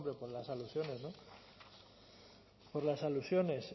por las alusiones no por las alusiones